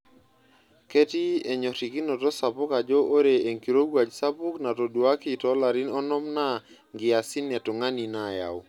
Ketii enyorikinotot sapuk ajo ore enkirowuaj sapuk natoduaki toolarin onom naa nkiasin e tungani naayau.